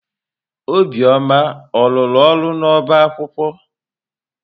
Obioma ọ rụrụ ọrụ n'ọba akwụkwọ?